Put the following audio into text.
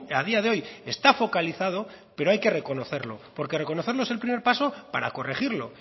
a día de hoy está focalizado pero hay que reconocerlo porque reconocerlo es el primer paso para corregirlo